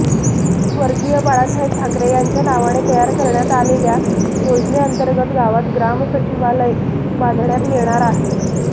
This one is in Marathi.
स्वर्गीय बाळासाहेब ठाकरे यांच्या नावाने तयार करण्यात आलेल्या योजनेंतर्गत गावात ग्रामसचिवालय बांधण्यात येणार आहे